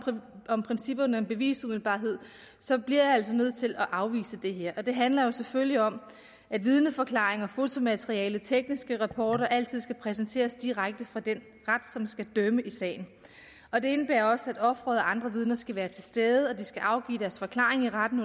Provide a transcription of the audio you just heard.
om principperne om bevisumiddelbarhed så bliver jeg altså nødt til at afvise det her det handler jo selvfølgelig om at vidneforklaringer fotomateriale tekniske rapporter altid skal præsenteres direkte for den ret som skal dømme i sagen og det indebærer også at offeret og andre vidner skal være til stede og at de skal afgive deres forklaring i retten